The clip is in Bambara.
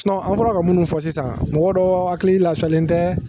an fɔra ka minnu fɔ sisan mɔgɔ dɔw hakili lafiyalen tɛ